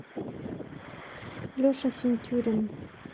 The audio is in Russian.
леша синтюрин